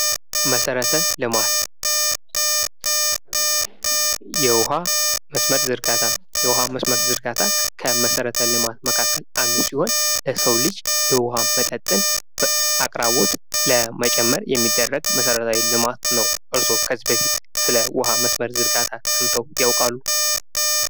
መሠረተ ልማት የውኃ መስመር ዝርጋታ የውሃ መስመር ዝርጋታ ከመሰረተ ልማት መካከል አንዱ ሲሆን፤ ለሰው ልጅ የውሃ መጠጥን አቅራቦት ለመጨመር የሚደረግ መሰረተ ልማት ነው። እርስዎ ከዚህ በፊት ስለ የውሃ መስመር ዝርጋታ ሰምተው ያውቃሉ?